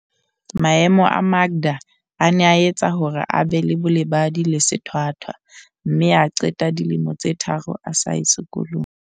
Maemo a Makda a ne a etsa hore a be le bolebadi le sethwa thwa mme a qeta dilemo tse tharo a sa ye sekolong.